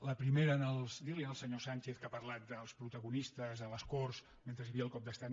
la primera dir li al senyor sánchez que ha parlat dels protagonistes a les corts mentre hi havia el cop d’estat